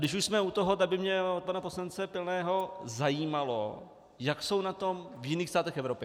Když už jsme u toho, tak by mě od pana poslance Pilného zajímalo, jak jsou na tom v jiných státech Evropy.